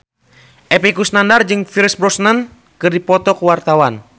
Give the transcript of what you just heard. Epy Kusnandar jeung Pierce Brosnan keur dipoto ku wartawan